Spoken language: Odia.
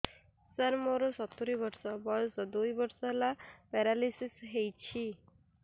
ସାର ମୋର ସତୂରୀ ବର୍ଷ ବୟସ ଦୁଇ ବର୍ଷ ହେଲା ପେରାଲିଶିଶ ହେଇଚି